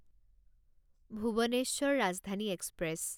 Bhubaneswar Rajdhani express